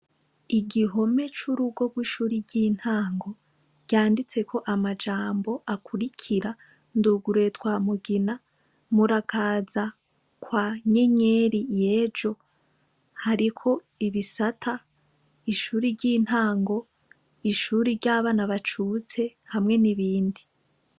Igihome curugo ryishure ryintango ryanditseko amajambo akurikira nduguruye twa mugina murakaza kwa nyenyeri yejo hariko ibisata ishure ryintango ishure ryabana bacutse hamwe nibindi